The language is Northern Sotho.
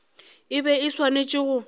e be e swanetše go